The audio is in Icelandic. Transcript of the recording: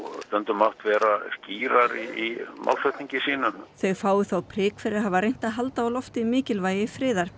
mátt vera skýrari í málflutningi sínum þá fái þau prik fyrir að hafa þó reynt að halda á lofti mikilvægi friðar